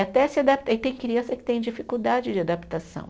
Até se adap, aí tem criança que tem dificuldade de adaptação.